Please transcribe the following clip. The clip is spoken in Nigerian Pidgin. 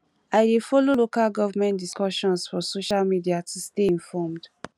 i dey follow local government discussions for social media to stay informed